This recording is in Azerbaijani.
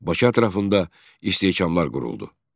Bakı ətrafında istehkamlar quruldu.